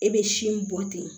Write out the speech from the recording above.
E bɛ sin bɔ ten